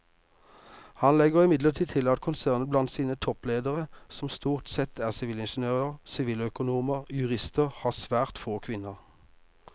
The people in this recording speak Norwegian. Han legger imidlertid til at konsernet blant sine toppledere som stort sette er sivilingeniører, siviløkonomer og jurister har svært få kvinner.